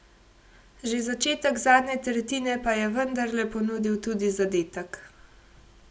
Že začetek zadnje tretjine pa je vendarle ponudil tudi zadetek.